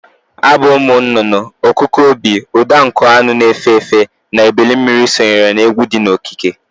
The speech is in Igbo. Abụ ụmụ nụnụnụ, ọkụkụ obi, ụda nkụ anụ na-efe efe na ebilimmiri sonyere na egwụ di n'okike.